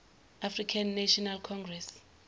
african national congress